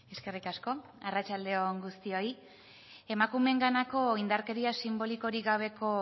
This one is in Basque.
eskerrik asko arratsalde on guztioi emakumeenganako indarkeria sinbolikorik gabeko